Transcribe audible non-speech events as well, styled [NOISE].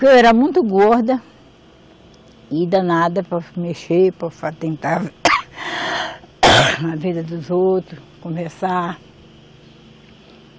Que eu era muito gorda, e danada para mexer, para atentar, [COUGHS] a vida dos outros, conversar.